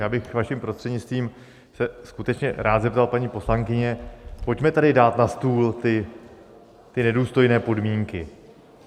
Já bych vaším prostřednictvím se skutečně rád zeptal paní poslankyně: pojďme tady dát na stůl ty nedůstojné podmínky.